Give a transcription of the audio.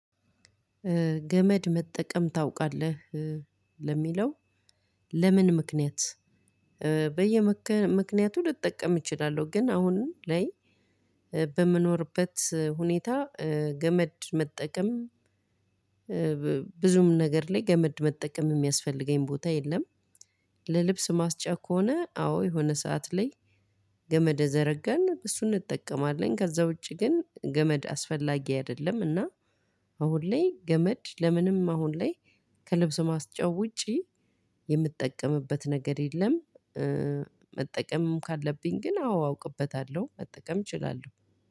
ገመድ መጠቀም ታውቃለህ ለሚለው ለምን ምክንያት በየምክንያቱ ልጠቀም እችላለሁ። ግን አሁን ላይ በመኖርበት ሁኔታ ገመድ መጠቀም ብዙም ነገር ላይ ገመድ መጠቀም የሚያስፈልገኝ ቦታ የለም። ለልብስ ማስጫ ከሆነ አዎ የሆነ ሰዓት ላይ ገመድ ዘረግተን እሱን እንጠቀማለን። ከዛ ውጪ ግን ገመድ አስፈላጊ አይደለምና። አሁን ላይ ገመድ ለምንም አሁን ላይ ከልብስ ማስጫነት ውጪ የምጠቀምበት ነገር የለም። መጠቀምም ካለብኝ ግን አዎ አውቅበታለሁ መጠቀም እችላለሁ።